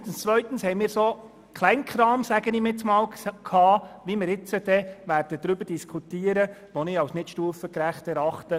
Unter 9.2 hatten wir verschiedenen «Kleinkram», ähnlich dem, worüber wir jetzt dann diskutieren werden, was ich als nicht stufengerecht erachte.